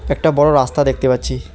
একটা বড়ো রাস্তা দেখতে পাচ্ছি।